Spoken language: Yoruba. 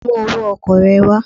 Bring your transport fare